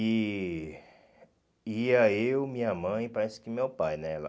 E ia eu, minha mãe, parece que meu pai, né?